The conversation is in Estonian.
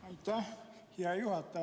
Aitäh, hea juhataja!